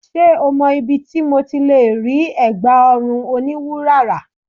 Ṣé o mọ ibi tí mo ti lè rí ẹ̀gbá ọrùn oní wúrà rà?